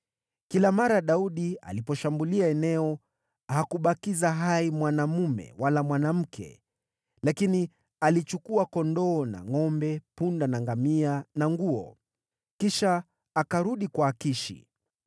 Kila mara Daudi aliposhambulia eneo, hakubakiza hai mwanaume wala mwanamke, lakini alichukua kondoo na ngʼombe, punda na ngamia, na nguo. Kisha akarudi kwa Akishi.